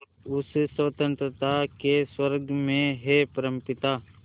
उस स्वतंत्रता के स्वर्ग में हे परमपिता